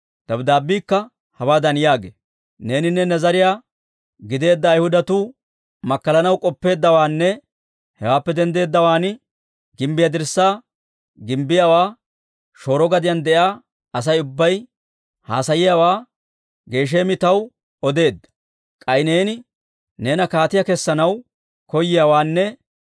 Dabddaabbiikka hawaadan yaagee; «Neeninne ne zariyaa gideedda Ayhudatuu makkalanaw k'oppeeddawaanne hewaappe denddeeddawaan gimbbiyaa dirssaa gimbbiyaawaa shooro gadiyaan de'iyaa Asay ubbay haasayiyaawaa Gesheemi taw odeedda. K'ay neeni neena kaatiyaa kessanaw koyiyaawaanne;